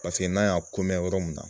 Paseke n'a y'a kunnen ye yɔrɔ min na